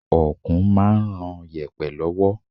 Okùn máa ń ron yèpẹ̀ lọ́wọ́.